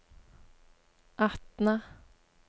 Atna